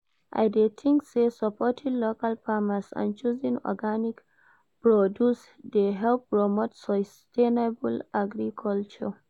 I dey think say supporting local farmers and choosing organic produce dey help promote sustainable agriculture.